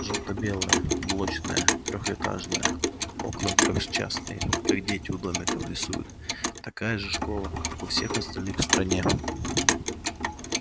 жёлто-белая блочная трёхэтажная окна трёхчастные как дети у домиков рисуют такая же школа как у всех остальных в стране